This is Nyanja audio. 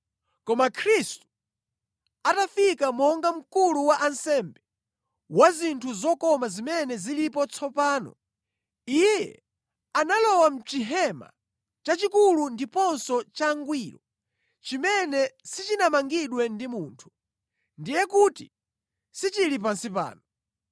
Koma Khristu atafika monga Mkulu wa ansembe wa zinthu zokoma zimene zilipo tsopano, Iye analowa mʼChihema chachikulu ndiponso changwiro chimene sichinamangidwe ndi munthu, ndiye kuti sichili pansi pano.